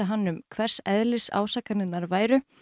hann um hvers eðlis ásakanirnar væru